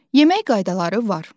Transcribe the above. Yemək qaydaları var.